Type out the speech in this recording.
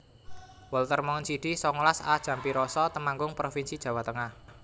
Wolter Manginsidi songolas A Jampiroso Temanggung provinsi Jawa Tengah